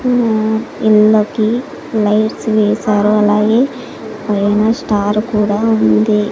ఆ ఇళ్ళకి లైట్స్ వేశారు అలాగే పైన స్టార్ కూడా ఉంది.